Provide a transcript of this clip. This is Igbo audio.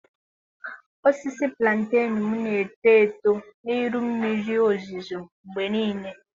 Osisi Plantenu m na-eto eto n'ihi mmiri ozuzo mgbe niile.